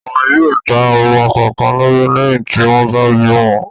Wọn yóò dá ọmọ kọ̀ọ̀kan lábẹ́ lẹ́yìn tí wọ́n bá bí wọn.